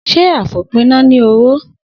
Sé àfòpíná ní oró?